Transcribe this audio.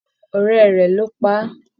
Ọrẹ rẹ ló pá a.